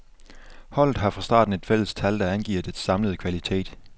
Holdet har fra starten et fælles tal, der angiver dets samlede kvalitet.